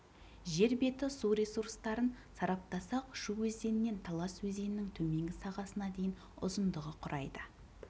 жер беті су ресурстарын сараптасақ шу өзенінен талас өзенінің төменгі сағасына дейін ұзындығы құрайды